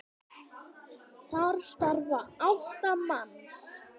Þar starfa átta manns.